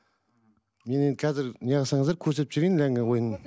мен енді қазір не қылсаңыздар көрсетіп жіберейін ләңгі ойынын